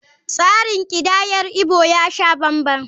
Tsarin kidayar Igbo ya sha banban.